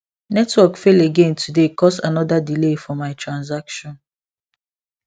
network fall again today cause another delay for my transaction